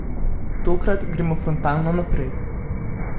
Tokrat, gremo frontalno naprej.